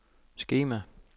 skema